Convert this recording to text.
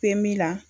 Pemi na